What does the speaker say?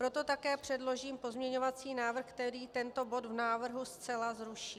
Proto také předložím pozměňovací návrh, který tento bod v návrhu zcela zruší.